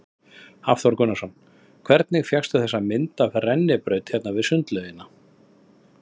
Hafþór Gunnarsson: Hvernig fékkstu þessa hugmynd af rennibraut hérna við sundlaugina?